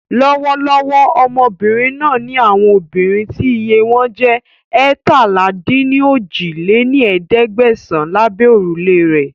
Lọ́wọ́lọ́wọ́ Ọmọbìnrin náà ńi àwọn obìnrin tí iye wọn jẹ́ eétalá-dín-ní-ojì lé ní ẹ̀ẹ́dẹ́gbẹ́sán lábẹ́ órùlé rẹ́